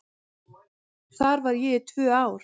Þar var ég í tvö ár.